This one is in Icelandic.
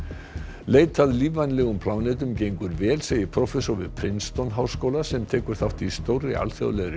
leit að lífvænlegum plánetum gengur vel segir prófessor við háskóla sem tekur þátt í stórri alþjóðlegri